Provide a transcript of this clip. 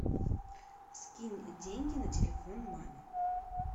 скинь деньги на телефон маме